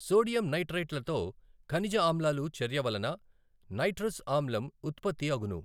Sodium నైట్రైట్లతో ఖనిజ ఆమ్లాలు చర్యవలన నైట్రస్ ఆమ్లం ఉత్పత్తి అగును.